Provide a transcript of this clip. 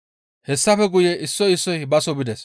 Hessafe guye issoy issoy baso bides.